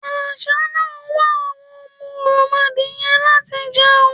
Àṣá náà ń wá àwọn òròmọdìyẹ láti jẹun.